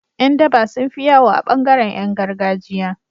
Yan daba sunfi yawo a bangaran Yan gargajiya